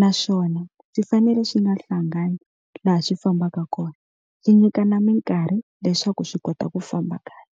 naswona swi fanele swi nga hlangani laha swi fambaka kona swi nyikana mikarhi leswaku swi kota ku famba kahle.